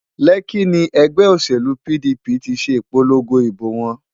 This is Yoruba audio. Lekki ni ẹgbẹ́ òṣèlú PDP ti ṣe ìpolongo ìbò wọn